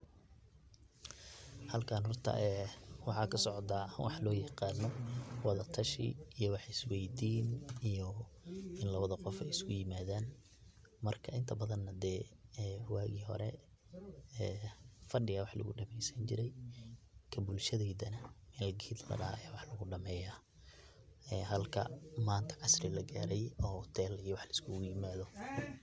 Halkan horta waxa kasocda wax loyaqano wada tashi iyo wax isweydin iyo in lawada qof ey iskuyimadan marka inta badan hadee wagi hore ee fadi aya wax lugudameysani jire ka bulshadeydana meel ged ladaha aya lagudameya ee halka manta casri lagaray oo hotel iyo wax laiskuguyimado.